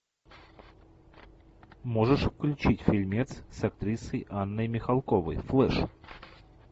можешь включить фильмец с актрисой анной михалковой флеш